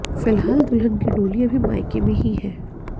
फिलहाल दुल्हन की डोली अभी मायके में ही है